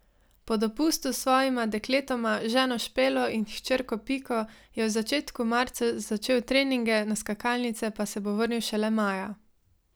Po dopustu s svojima dekletoma, ženo Špelo in hčerko Piko, je v začetku marca začel treninge, na skakalnice pa se bo vrnil šele maja.